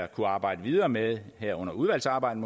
kunne arbejde videre med her under udvalgsarbejdet